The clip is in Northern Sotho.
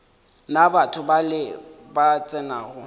na batho bale ba tsenago